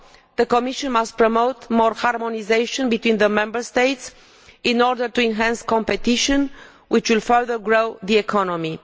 The Commission must also promote more harmonisation between the Member States in order to enhance competition, which will further grow the economy.